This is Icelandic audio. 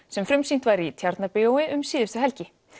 sem frumsýnt var í Tjarnarbíói um síðustu helgi